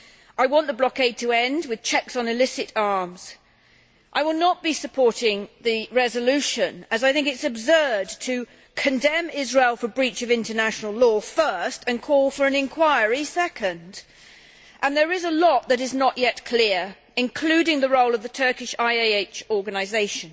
I want the blockade to end, with checks on illicit arms. I will not be supporting the resolution as I think it is absurd to condemn Israel for breach of international law first and to call for an inquiry second, and there is much which is not yet clear, including the role of the Turkish IHH organisation.